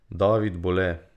David Bole.